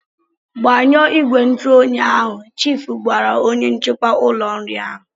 Gbanyụọ ìgwè ntụoyi ahụ!" Chiifu gwara onye nchekwa ụlọ nri ahụ.